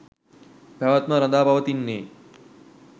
පැවැත්ම රඳා පවතින්නේ